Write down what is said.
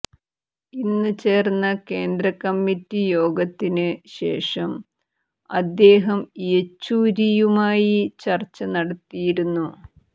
ഇന്ന് ചേര്ന്ന കേന്ദ്രക്കമ്മിറ്റി യോഗത്തിന് ശേഷം അദ്ദേഹം യെച്ചൂരിയുമായി ചര്ച്ച നടത്തിയിരുന്നു